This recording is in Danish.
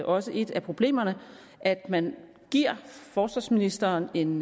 også et af problemerne at man giver forsvarsministeren en